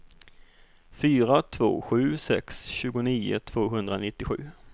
fyra två sju sex tjugonio tvåhundranittiosju